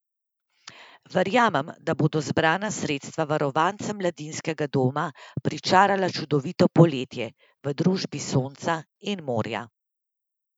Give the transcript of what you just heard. Verjamem, da bodo zbrana sredstva varovancem mladinskega doma pričarala čudovito poletje, v družbi sonca in morja.